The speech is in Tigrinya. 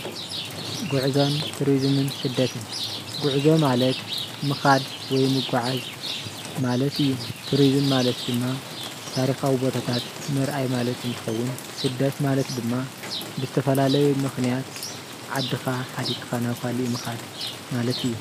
ጉዕዞን ቱሪዝምን ፦ስደትን ጉዕዞ ማለት ምካድ ወይ ምጋዓዝ ማለት እዩ፡፡ ቱሪዝም ማለት ድማ ታሪካዊ ቦታታት ምርአይ ማለት እንትከውን ስደት ማለት ድማ ብዝተፈላለዩ ምክንያት ዓድካ ሓዲግካ ናብ ካሊእ ምካድ ማለት እዩ፡፡